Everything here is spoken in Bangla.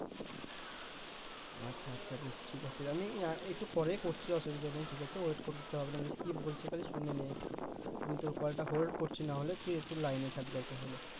আচ্ছা আচ্ছা বেশ ঠিক আছে আমি একটু পরেই করছি অসুবিধা নেই ঠিক আছে wait করতে হবে না বুঝেছিস কি বলছে খালি শুনে নেই একটু আমি তোর কলটা hold করছি না হলে তুই একটু লাইনে থাক দরকার হলে